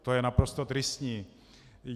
To je naprosto tristní.